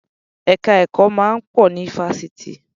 Ẹ̀ka ẹ̀kọ́ máa ń pọ̀ ní Fásitì.